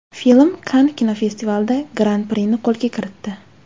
Film Kann kinofestivalida Gran-prini qo‘lga kiritdi.